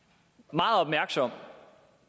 meget opmærksom